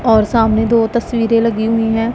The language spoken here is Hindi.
और सामने दो तस्वीरें लगी हुई है।